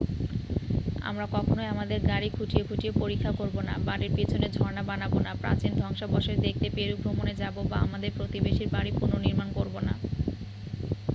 আমরা কখনই আমাদের গাড়ি খুঁটিয়ে খুঁটিয়ে পরীক্ষা করব না বাড়ির পিছনে ঝর্ণা বানাব না প্রাচীন ধ্বংসাবশেষ দেখতে পেরু ভ্রমণে যাব বা আমাদের প্রতিবেশীর বাড়ি পুনর্নিমাণ করব না